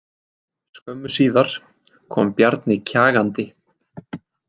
Skömmu síðar kom Bjarni kjagandi.